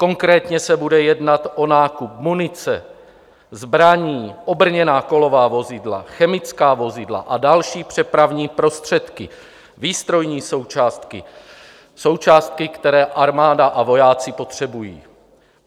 Konkrétně se bude jednat o nákup munice, zbraní, obrněná kolová vozidla, chemická vozidla a další přepravní prostředky, výstrojní součástky, součástky, které armáda a vojáci potřebují.